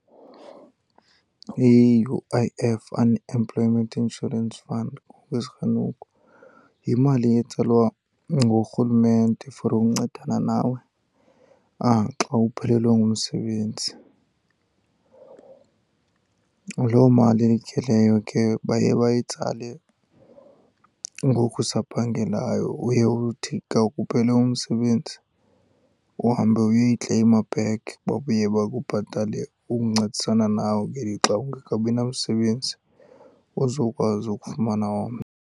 I-U_I_F Unemployment Insurance Fund, yimali etsalwa ngurhulumente for ukuncedana nawe xa uphelelwe ngumsebenzi. Loo mali ke leyo ke baye bayitsale ngoku usaphangelayo. Uye uthi ka kuphele umsebenzi uhambe uyoyikleyima back. Babuye bakubhatale ukuncedisana nawe ngelixa ungekabi namsebenzi, uzokwazi ukufumana omnye.